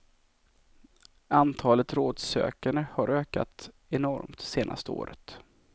Antalet rådsökande har ökat enormt, senaste året.